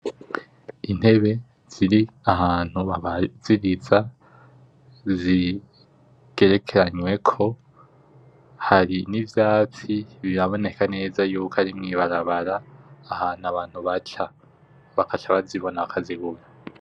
Intebe ziri ahantu babazibitsa zigerekeranyweko, hari nivyatsi biraboneka neza ko ari mwibarabara ahantu baca. Baca bazibona bakazigura.